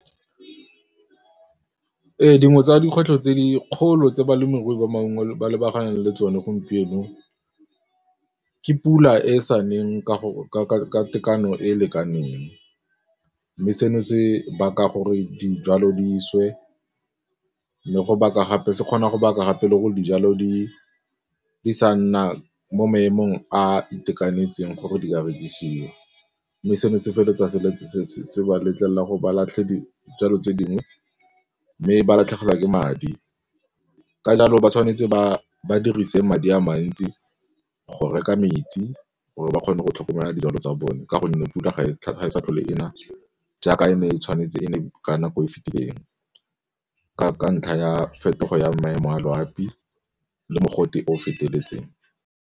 Dingwe tsa dikgwetlho tse dikgolo tse balemirui ba maungo ba lebaganeng le tsone gompieno ke pula e sa neng ka tekano e e lekaneng mme seno se baka gore dijalo di swe se kgona go baka gape le gore dijalo di sa nna mo maemong a itekanetseng gore di rekisiwe mme seno se feleletsa se le se ba letlelela gore ba latlhe dijalo tse dingwe mme ba latlhegelwa ke madi. Ka jalo ba tshwanetse ba dirise madi a mantsi go reka metsi go re ba kgone go tlhokomela dijalo tsa bone ka gonne pula ga e sa tlhole e na jaaka e ne e tshwanetse e ne ka nako e e fetileng ka ntlha ya phetogo ya maemo a loapi le mogote o feteletseng.